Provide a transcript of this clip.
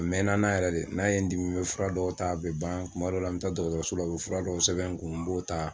A mɛna n na yɛrɛ de, n'a ye dimi , n bɛ fura dɔ ta a bɛ ban kuma dɔw la mi taa dɔgɔtɔrɔso la, u bɛ fura dɔw sɛbɛn n kun, n b'o ta.